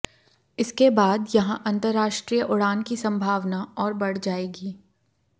इसके बाद यहां अंतरराष्ट्रीय उड़ान की संभावना और बढ़ जाएगी